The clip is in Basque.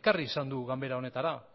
ekarri izan du ganbera honetara